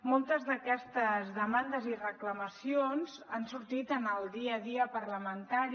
moltes d’aquestes demandes i reclamacions han sortit en el dia a dia parlamentari